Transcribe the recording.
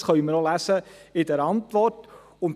Dies können wir auch in der Antwort lesen.